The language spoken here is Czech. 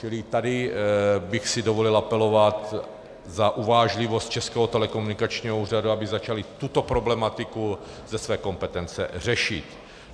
Čili tady bych si dovolil apelovat na uvážlivost Českého telekomunikačního úřadu, aby začali tuto problematiku ze své kompetence řešit.